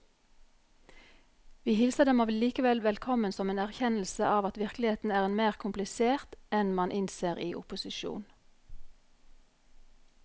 Vi hilser dem allikevel velkommen som en erkjennelse av at virkeligheten er mer komplisert enn man innser i opposisjon.